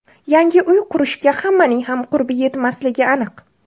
Yangi uy qurishga hammaning ham qurbi yetmasligi aniq.